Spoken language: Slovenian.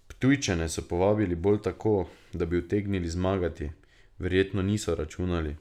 Ptujčane so povabili bolj tako, da bi utegnili zmagati, verjetno niso računali.